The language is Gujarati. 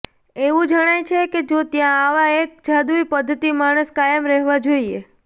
એવું જણાય છે કે જો ત્યાં આવા એક જાદુઈ પદ્ધતિ માણસ કાયમ રહેવા જોઇએ